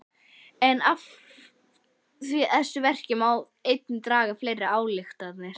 En af þessu verki má einnig draga fleiri ályktanir.